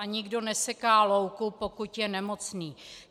A nikdo neseká louku, pokud je nemocný.